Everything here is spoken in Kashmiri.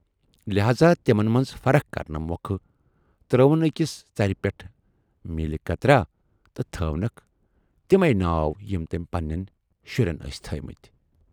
لہاذا تِمن منز فرق کرنہٕ مۅکھٕ ترٲوٕن ٲکِس ژرِ پٮ۪ٹھ میٖلہِ قطراہ تہٕ تھٔوۍنکھ تِمٕے ناو یِم تمٔۍ پنہٕ نٮ۪ن شُرٮ۪ن ٲسۍ تھٔوۍمٕتۍ۔